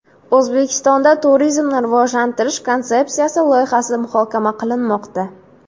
O‘zbekistonda Turizmni rivojlantirish konsepsiyasi loyihasi muhokama qilinmoqda.